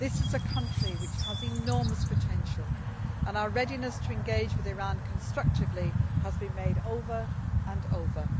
This is a country which has enormous potential and our readiness to engage with Iran constructively has been made over and over.